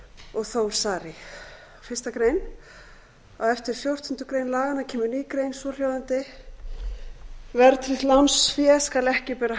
og þór saari fyrstu grein á eftir fjórtándu greinar laganna kemur ný grein svohljóðandi verðtryggt lánsfé skal ekki bera